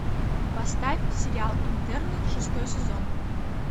поставь сериал интерны шестой сезон